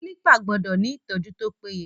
Kílípà gbọ́dọ̀ ni ìtọ́jú tó péye.